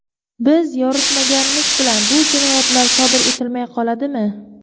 Biz yoritmaganimiz bilan bu jinoyatlar sodir etilmay qoladimi?